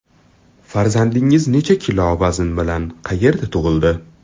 Farzandingiz necha kilo vazn bilan, qayerda tug‘ildi?